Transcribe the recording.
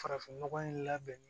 Farafin nɔgɔ in labɛn